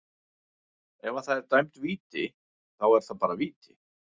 Ef að það er dæmd víti, þá er það bara víti.